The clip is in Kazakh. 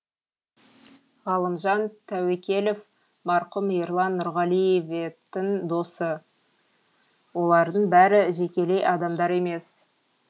ғалымжан тәуекелов марқұм ерлан нұрғаливетің досы олардың бәрі жекелей адамдар емес